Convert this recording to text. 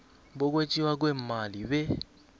bokwetjiwa kweemali be